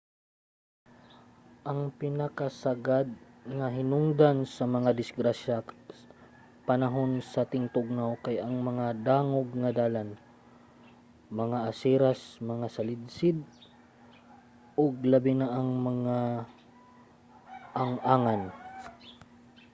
ang pinakasagad nga hinungdan sa mga disgrasya panahon sa tingtugnaw kay ang mga dangog nga dalan mga aseras mga salidsid ug labi na ang mga ang-angan